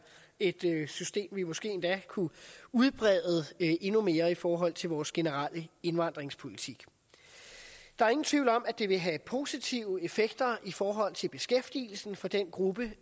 et system vi måske endda kunne udbrede endnu mere i forhold til vores generelle indvandringspolitik der er ingen tvivl om at det vil have positive effekter i forhold til beskæftigelsen for den gruppe